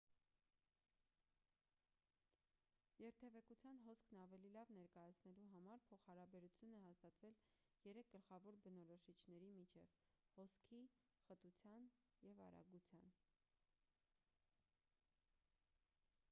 երթևեկության հոսքն ավելի լավ ներկայացնելու համար փոխհարաբերություն է հաստատվել երեք գլխավոր բնորոշիչների միջև` 1 հոսքի 2 խտության և 3 արագության: